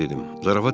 Yaxşı dedim.